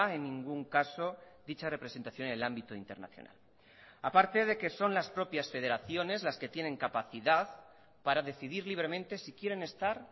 en ningún caso dicha representación en el ámbito internacional aparte de que son las propias federaciones las que tienen capacidad para decidir libremente si quieren estar